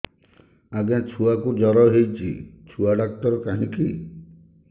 ଆଜ୍ଞା ଛୁଆକୁ ଜର ହେଇଚି ଛୁଆ ଡାକ୍ତର କାହିଁ କି